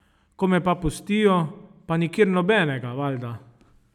Ko me pa pustijo, pa nikjer nobenega, valjda.